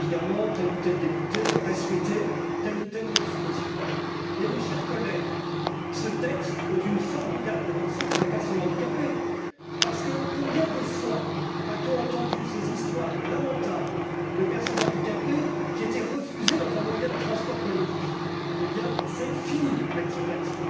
Évidemment, tel ou tel député aurait souhaité telle ou telle modification. Mais, mes chers collègues, ce texte est une formidable avancée pour les personnes handicapées parce que, combien de fois a t on entendu ces histoires lamentables de personnes handicapées qui ont été refusées dans un moyen de transport collectif? Eh bien, c'est fini avec ce texte.